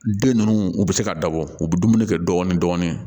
Den ninnu u bɛ se ka dabɔ u bɛ dumuni kɛ dɔɔnin dɔɔnin